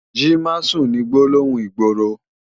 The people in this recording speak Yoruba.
Ji másùn ni gbólóhún igbóró